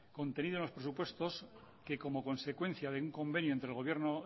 contenido en los presupuestos que como consecuencia de un convenio entre el gobierno